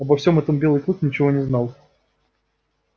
обо всем этом белый клык ничего не знал